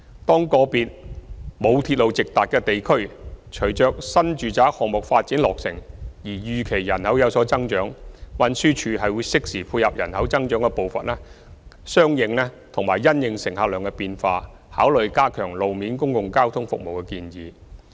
當個別沒有鐵路直達的地區隨着新住宅項目落成而預期人口有所增長，運輸署會適時配合人口增長的步伐及因應乘客量的變化，考慮加強路面公共交通服務的建議。